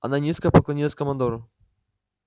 она низко поклонилась командору